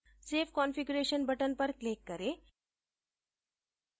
save configuration button पर click करें